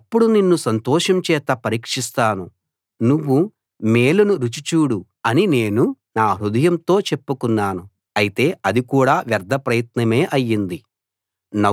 అప్పుడు నిన్ను సంతోషం చేత పరీక్షిస్తాను నువ్వు మేలును రుచి చూడు అని నేను నా హృదయంతో చెప్పుకున్నాను అయితే అది కూడా వ్యర్థప్రయత్నమే అయ్యింది